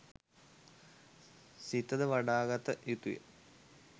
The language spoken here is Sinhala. සිත ද වඩාගත යුතුය.